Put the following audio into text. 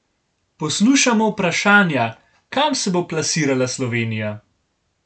Poslušamo vprašanja, kam se bo plasirala Slovenija?